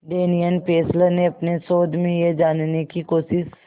Daniel Fessler ने अपने शोध में यह जानने की कोशिश